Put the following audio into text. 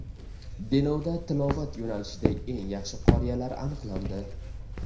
Denovda tilovat yo‘nalishida eng yaxshi qoriyalar aniqlandi.